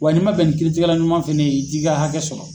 Wa n'i man bɛn ni kiiri tigɛla ɲuman fɛnɛ ye i t'i ka hakɛ sɔrɔ.